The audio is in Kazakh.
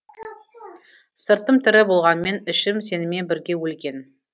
сыртым тірі болғанмен ішім сенімен бірге өлген